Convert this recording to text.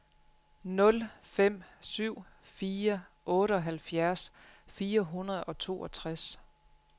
nul fem syv fire otteoghalvfjerds fire hundrede og toogtres